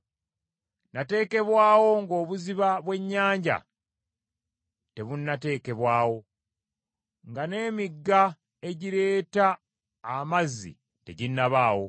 Nateekebwawo ng’obuziba bw’ennyanja tebunnateekebwawo, nga n’emigga egireeta amazzi teginnabaawo,